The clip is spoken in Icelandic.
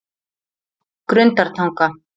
Grundartanga